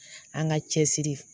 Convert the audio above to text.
An ka cɛ siri